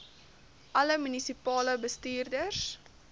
alle munisipale bestuurders